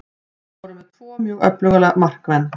Við vorum með tvo mjög öfluga markmenn.